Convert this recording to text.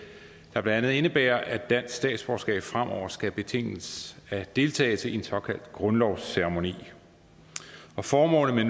blandt andet indebærer at dansk statsborgerskab fremover skal betinges af deltagelse i en såkaldt grundlovsceremoni formålet med